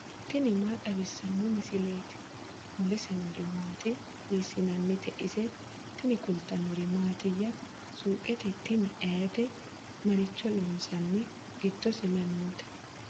tini maa xawissanno misileeti ? mulese noori maati ? hiissinannite ise ? tini kultannori mattiya? suuqqe tini ayiite? maricho loosanni? giddose may nootte?